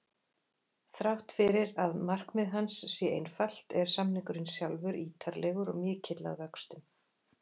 Þrátt fyrir að markmið hans sé einfalt er samningurinn sjálfur ítarlegur og mikill að vöxtum.